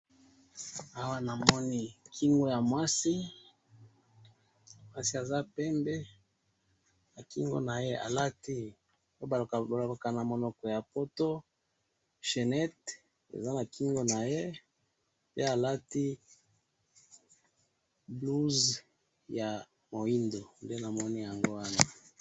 Awa namoni kingo ya mwasi ,mwasi aza pembe ,na kingo na ye alati oyo balobaka na monoko ya poto chainette ,eza na kingo na ye, pe alati blouse ya muindo nde namoni yango wana